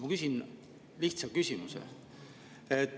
Ma küsin lihtsa küsimuse.